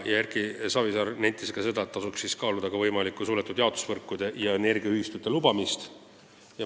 Erki Savisaar nentis veel, et tasub kaaluda ka suletud jaotusvõrkude ja energiaühistute lubamist.